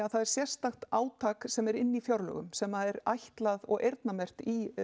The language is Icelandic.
það er sérstakt átak sem er inn í fjárlögum sem er ætlað og eyrnamerkt í